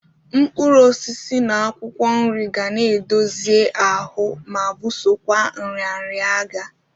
Mkpụrụosisi na akwụkwọ nri ga na-edozie ahụ ma bụsokwa nrịanrịa agha.